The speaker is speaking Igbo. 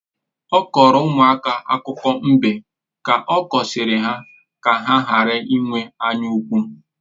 Ọ kọọrọ ụmụaka akụkọ mbe ka ọ kụziere ha ka ha ghara ịnwe anya ukwu